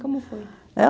Como foi?